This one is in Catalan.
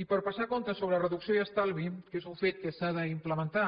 i per passar comptes sobre reducció i estalvi que és un fet que s’ha d’implementar